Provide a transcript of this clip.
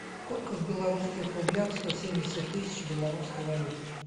сколько в белорусских рублях сто семьдесят тысяч в белорусской валюте